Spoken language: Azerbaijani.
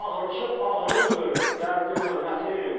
Ağrısı ağrındır, dərdi möhnətim.